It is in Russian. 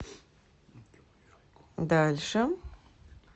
дальше